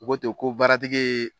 U ko te ko baaratigi ye.